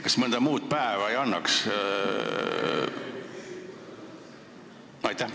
Kas mõnda muud päeva ei annaks võtta?